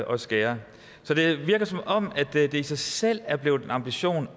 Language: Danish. og skærer så det virker som om det i sig selv er blevet en ambition